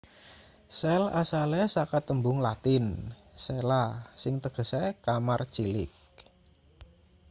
sel asale saka tembung latin cella sing tegese kamar cilik